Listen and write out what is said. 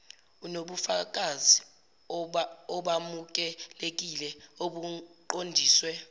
inobufakazi obamukelekile obuqondiswe